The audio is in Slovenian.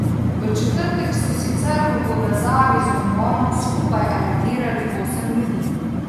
V četrtek so sicer v povezavi z umorom skupaj aretirali osem ljudi.